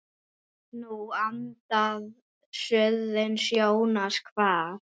Nú andar suðrið Jónas kvað.